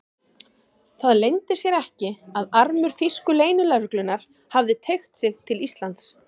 Það leyndi sér ekki, að armur þýsku leynilögreglunnar hafði teygt sig til Íslands.